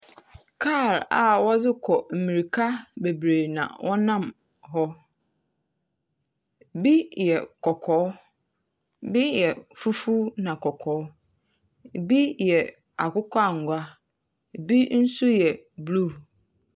Kaar a wɔdze kɔ mmirika bebree na wɔnam hɔ. Bi yɛ kɔkɔɔ, bi yɛ fufuw na kɔkɔɔ. Ibi yɛ akokɔ angua, ibi nso yɛ blue.